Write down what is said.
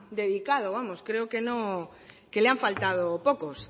dedicado vamos creo que le han faltado pocos